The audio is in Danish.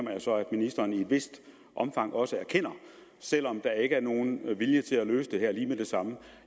jeg så at ministeren i et vist omfang også erkender selv om der ikke er nogen vilje til at løse det lige med det samme